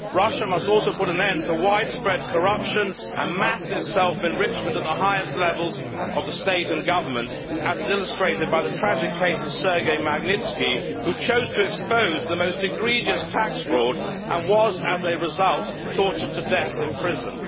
Russia must also put an end to widespread corruption and massive self enrichment at the highest levels of the state and government, as is illustrated by the tragic case of Sergei Magnitsky, who chose to expose the most egregious tax fraud and was, as a result, tortured to death in prison.